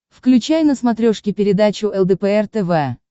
включай на смотрешке передачу лдпр тв